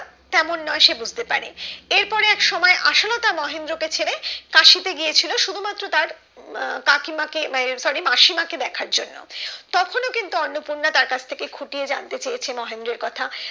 তেমন নয় সে বুঝতে পারে এর পরে একসময় আশালতা মহেন্দ্র কে ছেড়ে কাশিতে গিয়েছিলো শুধুমাত্র তার উম কাকিমা কে উম না এ sorry মাসিমাকে দেখার জন্য তখন কিন্তু অন্নপূর্না তার কাছ থেকে খুঁটিয়ে জানতে চেয়েছে মহেন্দ্রর কথা